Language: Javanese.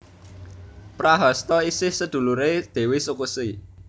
Prahasta isih seduluré Dèwi Sukesi